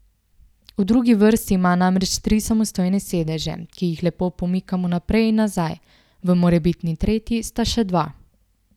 V drugi vrsti ima namreč tri samostojne sedeže, ki jih lepo pomikamo naprej in nazaj, v morebitni tretji sta še dva.